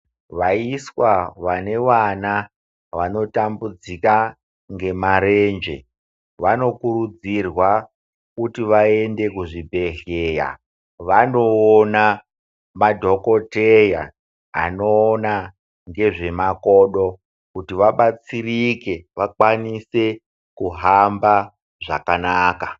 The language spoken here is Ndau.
Vaiswa vane vana vanotambudzika ngemarenje vanokurudzirwa kuti vaende kuzvibhedhleya vandoona madhokoteya anoona ngezvemakodo kuti vabatsirike vakwanise kuhamba zvakanaka.